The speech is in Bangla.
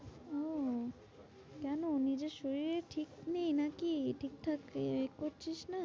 ওহ কেন? নিজের শরীরের ঠিক নেই নাকি? ঠিকঠাক এ করছিস না?